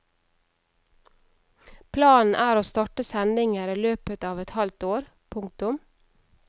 Planen er å starte sendinger i løpet av et halvt år. punktum